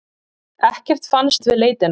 Ekkert fannst við leitina.